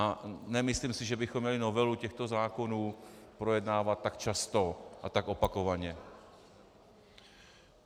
A nemyslím si, že bychom měli novelu těchto zákonů projednávat tak často a tak opakovaně.